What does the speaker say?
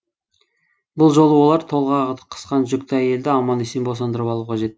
бұл жолы олар толғағы қысқан жүкті әйелді аман есен босандырып алуы қажет